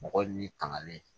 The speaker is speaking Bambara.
Mɔgɔ ni tangalen